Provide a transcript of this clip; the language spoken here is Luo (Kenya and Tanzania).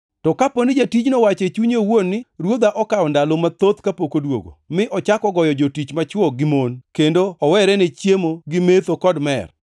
To kapo ni jatijno owacho e chunye owuon ni, ‘Ruodha, okawo ndalo mathoth kapok odwogo,’ mi ochako goyo jotich machwo gi mon kendo owere ne chiemo gi metho, kod mer.